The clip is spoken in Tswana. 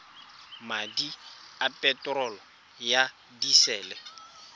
madi a peterolo ya disele